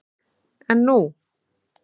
En nú?